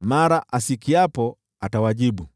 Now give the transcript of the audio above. Mara asikiapo, atawajibu.